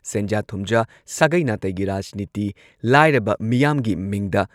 ꯁꯦꯟꯖꯥ-ꯊꯨꯝꯖꯥ, ꯁꯥꯒꯩ-ꯅꯥꯇꯩꯒꯤ ꯔꯥꯖꯅꯤꯇꯤ, ꯂꯥꯏꯔꯕ ꯃꯤꯌꯥꯝꯒꯤ ꯃꯤꯡꯗ